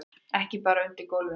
Ekki bara undir gólfinu.